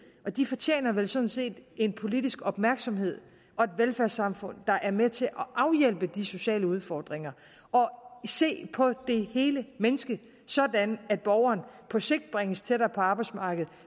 de fortjener vel sådan set en politisk opmærksomhed og et velfærdssamfund der er med til at afhjælpe de sociale udfordringer og og se på det hele menneske sådan at borgeren på sigt bringes tættere på arbejdsmarkedet